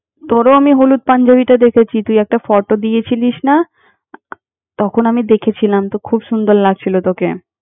তোরেও আমি হলুদ পাঞ্জাবীতে দেখেছি, তুই একটা photo দিয়েছিলিস না! আহ তখন আমি দেখেছিলাম, তো খুব সুন্দর লাগছিল তোকে।